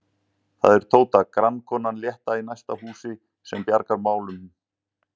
Það er Tóta, grannkonan létta í næsta húsi, sem bjargar mál- unum.